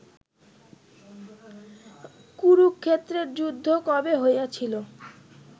কুরুক্ষেত্রের যুদ্ধ কবে হইয়াছিল